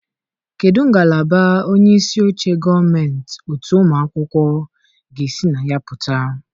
Kedu ngalaba onye isi oche gọọmentị otu ụmụ akwụkwọ ga-esi na ya pụta?